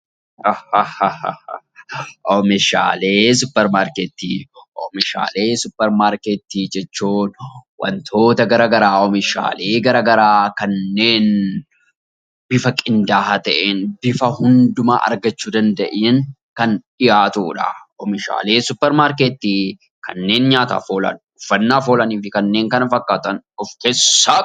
Oomishaalee suupparmaarkeetii jechuun wantoota garaagaraa oomishaalee garaagaraa kanneen bifa qindaa'aa ta'een bifa hundumaa argachuu danda'een kan dhiyaatudha. Oomishaalee suupparmaarkeetii kanneen nyaataaf oolan uffannaaf oolanii fi kanneen kana fakkaatanof keessaa qaba.